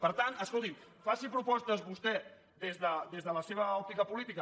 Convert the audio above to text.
per tant escolti’m faci propostes vostè des de la seva òptica política